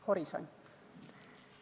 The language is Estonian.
Horisont.